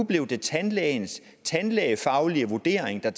blevet tandlægens tandlægefaglige vurdering der